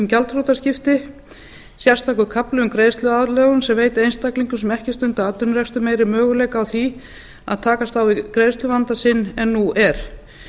gjaldþrotaskipti sérstakur kafli um greiðsluaðlögun sem veitir einstaklingum sem ekki stunda atvinnurekstur meiri möguleika á því að takast á við greiðsluvanda sinn en nú er